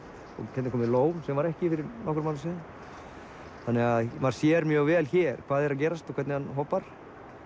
hérna er lón sem var ekki fyrir nokkrum árum maður sér mjög vel hér hvað er að gerast og hvernig hann hopar